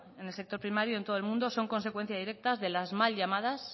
en el sector primario en todo el mundo son consecuencia directas de las mal llamadas